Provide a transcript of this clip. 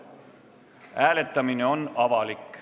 Hääletamine on avalik.